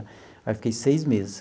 Aí fiquei seis meses.